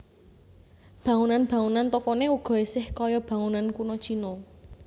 Bangunan bangunan tokoné uga isih kaya bangunan kuno Cina